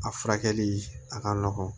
A furakɛli a ka nɔgɔn